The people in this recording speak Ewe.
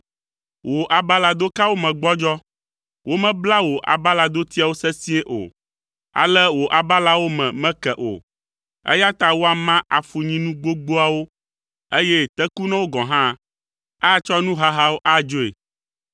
Wò abaladokawo me gbɔdzɔ; womebla wò abaladotiawo sesĩe o; ale wò abalawo me meke o, eya ta woama afunyinu gbogboawo, eye tekunɔwo gɔ̃ hã atsɔ nuhahawo adzoe.